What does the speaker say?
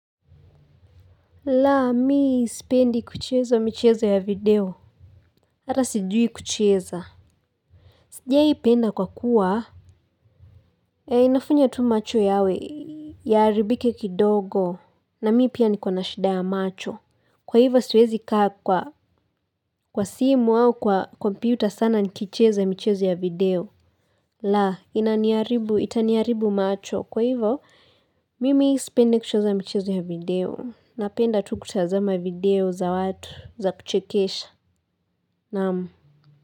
Laa, mii sipendi kucheza michezo ya video. Hata sijui kuchezo. Sijai penda kwa kuwa. Eh, inafanya tu macho yawe. Yaharibike kidogo. Na mii pia nikona shida ya macho. Kwa hivyo, siwezi kaa kwa kwa simu au kwa kompyuta sana nikicheza michezo ya video. Laa, inaniharibu, itaniharibu macho. Kwa hivyo, mimi sipendi kucheza michezo ya video. Napenda tu kutazama video za watu za kuchekesha. Naam.